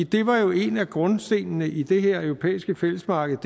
det var jo en af grundstenene i det europæiske fællesmarked